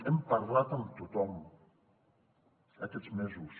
hem parlat amb tothom aquests mesos